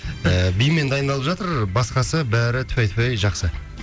і бимен дайындалып жатыр басқасы бәрі тфай тфай жақсы